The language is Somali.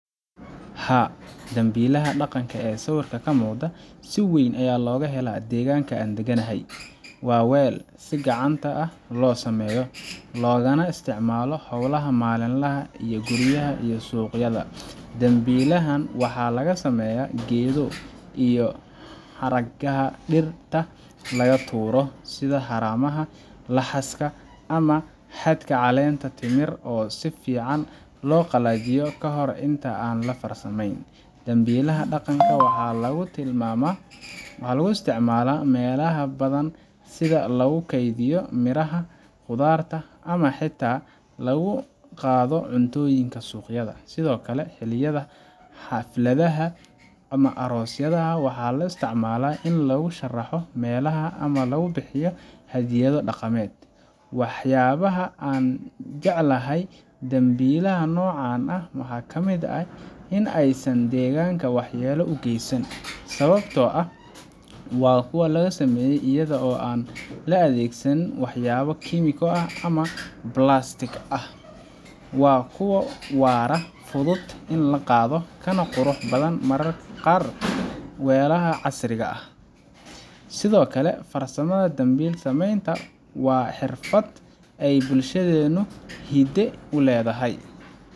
Haa, dambiilaha dhaqanka ee sawirka ka muuqda si weyn ayaa looga helaa deegaanka aan degganahay. Waa weel si gacanta ah loo sameeyo, loogana isticmaalo howlaha maalinlaha ah ee guryaha iyo suuqyada. Dambiilahan waxa laga sameeyaa geedo iyo xargaha dhirta laga tuuro, sida haramaha, laxaaska, ama xadhkaha caleenta timirta oo si fiican loo qalajiyo ka hor inta aan la farsameyn. Dambiilaha dhaqanka waxa lagu isticmaalaa meelaha badan sida lagu kaydiyo miraha, khudaarta, ama xitaa lagu qaado cuntooyinka suuqyada. Sidoo kale, xilliyada xafladaha ama aroosyada, waxaa loo isticmaalaa in lagu sharraxo meelaha ama lagu bixiyo hadyado dhaqameed. Waxyaabaha aan jecelahay dambiilaha noocan ah waxa ka mid ah in aysan deegaanka waxyeello u geysan, sababtoo ah waa kuwo la sameeyo iyada oo aan la adeegsan waxyaabo kiimiko ah ama balaastik. Waa kuwo waara, fudud in la qaado, kana qurux badan mararka qaar weelasha casriga ah. Sidoo kale, farsamada dambiil samaynta waa xirfad ay bulshadeennu hidde u leedahay